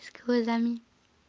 с глазами